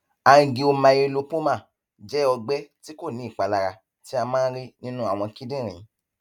angiomyolipoma jẹ ọgbẹ tí kò ní ìpalara tí a máa ń rí nínú àwọn kíndìnrín